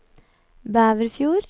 Bæverfjord